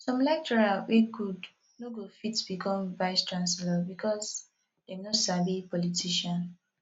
some lecturer wey good no go fit become vice chancellor because they no sabi politician